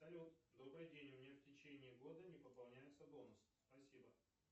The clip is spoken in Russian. салют добрый день у меня в течение года не пополняется бонус спасибо